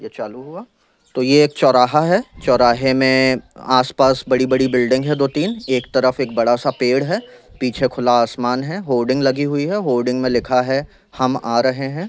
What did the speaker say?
ये चालू हुआ तो ये एक चौराहा है चौराहे में आस-पास बड़ी-बड़ी बिल्डिंग है दो-तीन एक तरफ एक बड़ा सा पेड़ है पीछे खुला आसमान है होडिंग लगी हुई है होडिंग में लिखा है हम आ रहे है।